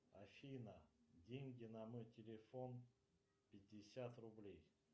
афина деньги на мой телефон пятьдесят рублей